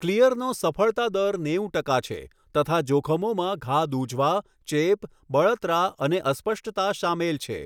ક્લિઅરનો સફળતા દર નેવું ટકા છે તથા જોખમોમાં ઘા દુઝવા, ચેપ, બળતરા અને અસ્પષ્ટતા સામેલ છે.